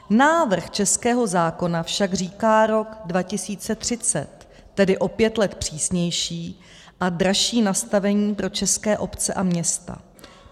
Návrh českého zákona však říká rok 2030, tedy o pět let přísnější a dražší nastavení pro české obce a města.